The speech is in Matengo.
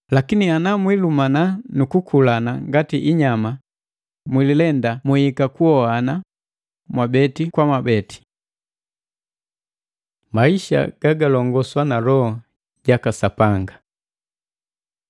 Lakini ana mwilumana nu kukulana ngati inyama, mwililenda mwihika kuhohana mwabeni kwa mwabeni! Maisha gagalongosw na Loho jaka Sapanga